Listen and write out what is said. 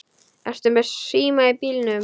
Ertu með síma í bílnum?